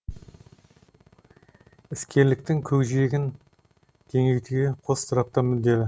іскерліктің көкжиегін кеңейтуге қос тарап та мүдделі